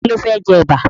Ta ló fẹ́ jẹ Ẹ̀bà?